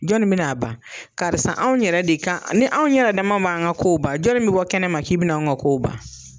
Jɔnni bɛ n'a ban karisa anw yɛrɛ de kan ni anw yɛrɛ dama man an ka kow ban jɔnni bɛ bɔ kɛnɛ ma k'i bɛ na an ka kow ban.